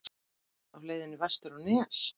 Á leiðinni vestur á Nes?